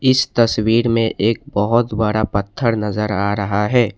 इस तस्वीर में एक बहोत बड़ा पत्थर नजर आ रहा है।